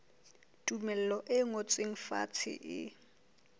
tumello e ngotsweng fatshe e